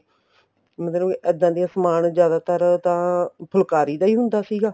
ਮਤਲਬ ਇੱਦਾਂ ਦੀਆ ਸਮਾਨ ਜਿਆਦਾਤਰ ਤਾਂ ਫੁਲਕਾਰੀ ਦਾ ਹੀ ਹੁੰਦਾ ਸੀਗਾ